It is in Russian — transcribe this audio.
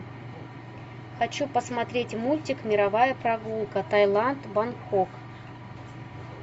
хочу посмотреть мультик мировая прогулка таиланд бангкок